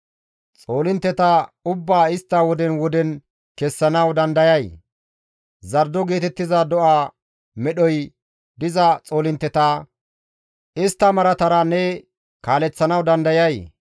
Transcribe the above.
Xoolintteta ubbaa istta woden woden kessanawu dandayay? Zardo geetettiza do7a medhoy diza xoolinte, istta maaratara ne kaaleththanawu dandayay?